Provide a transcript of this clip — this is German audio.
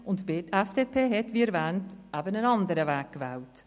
Und die FDP hat, wie erwähnt, einen anderen Weg gewählt.